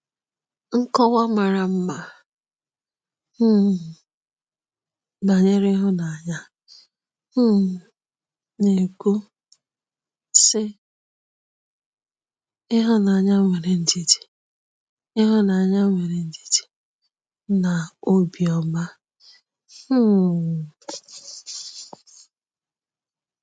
Nkọwa mara mma um banyere ịhụnanya um na-ekwu, sị: “ Ịhụnanya nwere ndidi Ịhụnanya nwere ndidi na obiọma um.